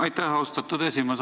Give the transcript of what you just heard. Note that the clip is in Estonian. Aitäh, austatud esimees!